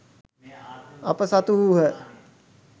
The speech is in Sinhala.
අප සතු වූහ